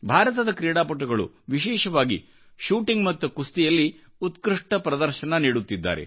ಭಾರತದ ಕ್ರೀಡಾಪಟುಗಳು ವಿಶೇಷವಾಗಿ ಶೂಟಿಂಗ್ ಮತ್ತು ಕುಸ್ತಿಯಲ್ಲಿ ಉತ್ಕೃಷ್ಟ ಪ್ರದರ್ಶನವನ್ನು ನೀಡುತ್ತಿದ್ದಾರೆ